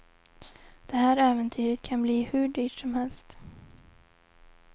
Det här äventyret kan bli hur dyrt som helst.